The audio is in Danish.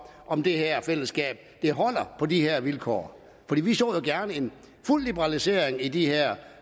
om det her fællesskab holder på de vilkår vi vi så gerne en fuld liberalisering af de her